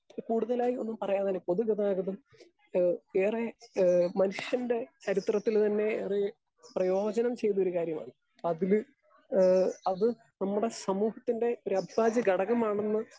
Speaker 2 കൂടുതലായി ഒന്നും പറയാതെ തന്നെ പൊതുഗതാഗതം ഏഹ് ഏറെ ഏഹ് മനുഷ്യൻ്റെ ചരിത്രത്തില് തന്നെ ഏറെ പ്രയോജനം ചെയ്ത ഒരു കാര്യമാണ്. അതില് ഏഹ് അത് നമ്മടെ സമൂഹത്തിൻ്റെ ഒരഭിഭാജ്യ ഘടകമാണെന്ന്